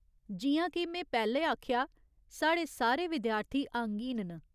जि'यां के में पैह्‌लें आखेआ ऐ, साढ़े सारे विद्यार्थी अंगहीन न।